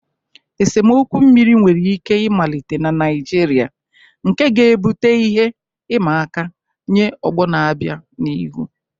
Esemokwu mmiri nwere ike ịmalite na Naịjirịa, nke ga-ebute ihe ịma aka nye ọgbọ na-abịa n'ihu.